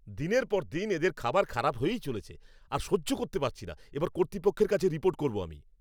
দিনের পর দিন এদের খাবার খারাপ হয়েই চলেছে। আর সহ্য করতে পারছি না, এবার কর্তৃপক্ষের কাছে রিপোর্ট করব আমি।